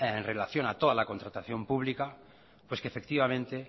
en relación a toda la contratación pública pues que efectivamente